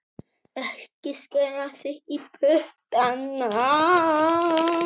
Ekki skera þig í puttana